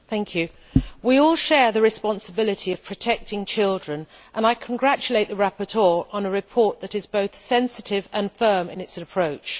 Mr President, we all share the responsibility of protecting children, and I congratulate the rapporteur on a report that is both sensitive and firm in its approach.